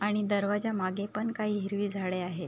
आणि दरवाजा मागे पण काही हिरवी झाडे आहेत.